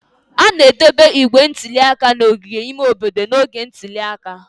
A ga-edobe igbe ntụli aka n'ogige ime obodo n'oge ntuli aka.